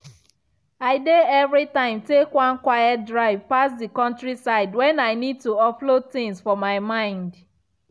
i dey every time take one quiet drive pass the countryside when i need to offload things for my mind.